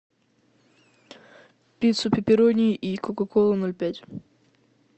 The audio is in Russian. пиццу пепперони и кока колу ноль пять